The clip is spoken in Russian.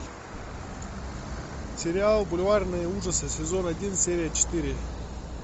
сериал бульварные ужасы сезон один серия четыре